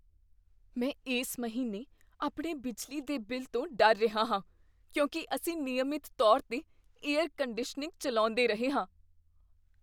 ਮੈਂ ਇਸ ਮਹੀਨੇ ਆਪਣੇ ਬਿਜਲੀ ਦੇ ਬਿੱਲ ਤੋਂ ਡਰ ਰਿਹਾ ਹਾਂ, ਕਿਉਂਕਿ ਅਸੀਂ ਨਿਯਮਿਤ ਤੌਰ 'ਤੇ ਏਅਰ ਕੰਡੀਸ਼ਨਿੰਗ ਚੱਲਾਉਂਦੇ ਰਹੇ ਹਾਂ।